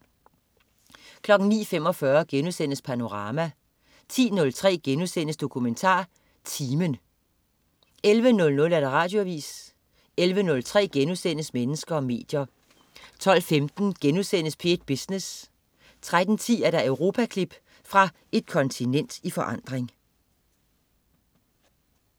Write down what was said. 09.45 Panorama* 10.03 DokumentarTimen* 11.00 Radioavis 11.03 Mennesker og medier* 12.15 P1 Business* 13.10 Europaklip. Fra et kontinent i forandring